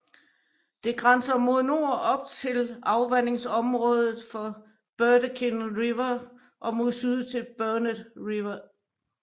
Det grænser mod nord op til afvandingsområdet for Burdekin River og mod syd til Burnett River